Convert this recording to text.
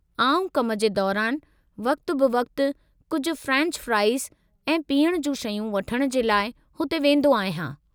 आउं कम जे दौरानि वक़्ति-ब-वक़्ति कुझु फ्रेंच फ्राइज़ ऐं पीअण जूं शयूं वठण जे लाइ हुते वेंदो आहियां।